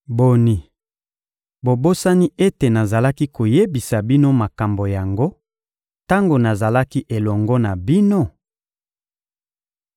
Boni, bobosani ete nazalaki koyebisa bino makambo yango tango nazalaki elongo na bino?